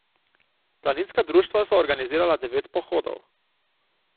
Planinska društva so organizirala devet pohodov.